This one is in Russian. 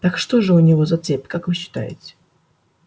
так что же у него за цель как вы считаете